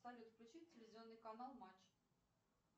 салют включи телевизионный канал матч